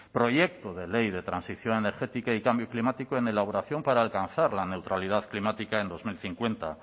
proyecto de ley de transición energética y cambio climático en elaboración para alcanzar la neutralidad climática en dos mil cincuenta